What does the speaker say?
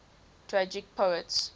tragic poets